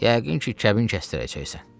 Yəqin ki, kəbin kəsdirəcəksən.